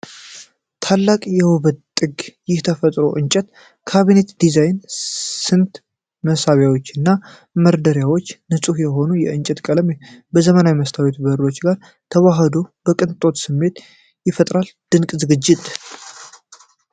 "ታላቅ የውበት ጥግ! ይህ የተፈጥሮ እንጨት ካቢኔት ዲዛይን! ስንት መሳቢያዎች እና መደርደሪያዎች! ንጹህ የሆነው የእንጨት ቀለም ከዘመናዊው የመስታወት በሮች ጋር ተዋህዶ የቅንጦት ስሜት ይፈጥራል! ድንቅ ዝግጅት!"